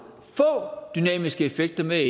dynamiske effekter med